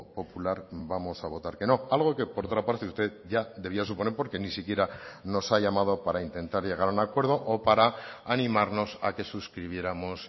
popular vamos a votar que no algo que por otra parte usted ya debía suponer porque ni siquiera nos ha llamado para intentar llegar a un acuerdo o para animarnos a que suscribiéramos